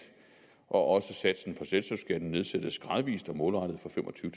og også satsen selskabsskatten nedsættes gradvis og målrettet fra fem og tyve